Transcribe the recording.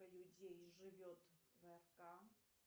людей живет в рк